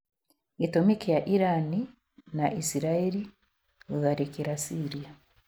Gi͂tu͂mi ki͂a Irani na Isirai͂ri guthariki͂rana Syria